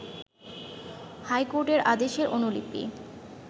হাইকোর্টের আদেশের অনুলিপি